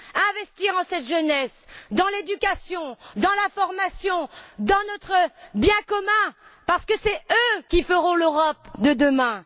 Investir dans cette jeunesse, dans l'éducation, dans la formation, dans notre bien commun parce que c'est eux qui feront l'Europe de demain.